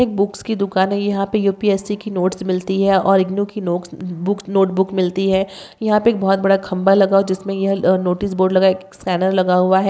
Pink red black purple बहुत सारे हैं। ब्लू यहां पर छोटी-छोटी साइकलिंग-- बुक्स की दुकान है। यहां पर यू-पी-एस-सी की नोटिस मिलती है। और की बुक्स नोटबुक मिलती है। यहां पर बहुत बड़ा खंबा लगा ओ जिसमें यह नोटिस बोर्ड लगाए स्कैनर लगा हुआ है।